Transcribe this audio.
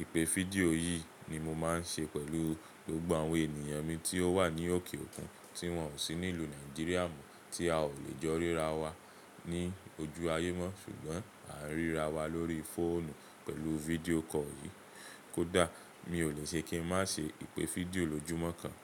Ìpè fídíò yìí ni mo máa ń ṣe pẹ̀lú gbogbo àwọn ènìyàn mi tí ó wà ní òkè òkun, tí wọ́n ò sí ní ìlú Nàìjíríà mọ́ tí a ò lè jọ ríra wa ní ojú ayé mọ́ ṣùgbọ́n à ń ríra wa lórí fóònù pẹ̀lú video call yìí. Kódà mi ò lè ṣe kí n má ṣe ìpè fídíò lójúmọ́ kan.